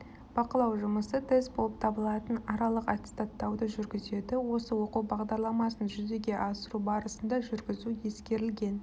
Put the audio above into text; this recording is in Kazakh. бақылау жұмысы тест болып табылатын аралық аттестаттауды жүргізеді осы оқу бағдарламасын жүзеге асыру барысында жүргізу ескерілген